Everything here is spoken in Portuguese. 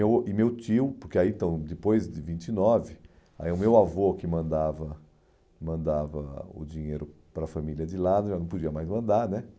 Eu e meu tio, porque aí então depois de vinte e nove, aí o meu avô que mandava mandava o dinheiro para a família de lá, já não podia mais mandar, né?